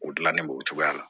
O dilanni b'o cogoya la